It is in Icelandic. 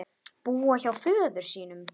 Búa hjá föður sínum?